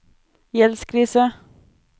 gjeldskrise